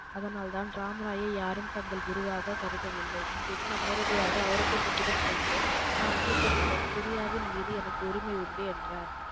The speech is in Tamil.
அதனால் தான் ராம்ராயை யாரும் தங்கள் குருவாக கருதவில்லை. இங்கிருந்து நேரடியாக ஒளரங்கசீப்பிடம் சென்று நான் மூத்த மகன். குரியாவின் மீது எனக்கு உரிமை உண்டு என்றார்.